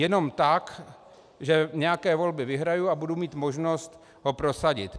Jenom tak, že nějaké volby vyhraji a budu mít možnost ho prosadit.